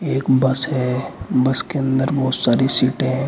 एक बस है बस के अंदर बहोत सारी सीटे हैं।